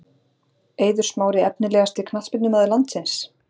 Eiður Smári Efnilegasti knattspyrnumaður landsins?